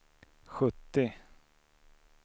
sjuttio